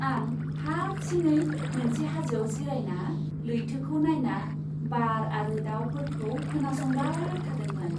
आं हारसिङै मोनसे हाजोआव जिरायना लैथोखौ नायना बार आरो दावफोरखौ खोनासंबाय थादोंमोन।